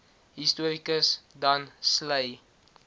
historikus dan sleigh